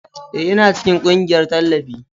Ee, Ina cikin ƙungiyar tallafi.